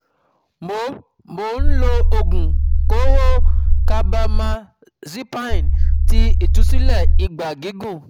mo mo ń lo oogun kooro um carbamazepine ti itusile ìgbà gígùn